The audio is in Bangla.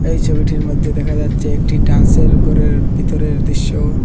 এই ছবিটির মধ্যে দেখা যাচ্ছে একটি ড্যান্সের ঘরের ভিতরের দৃশ্য।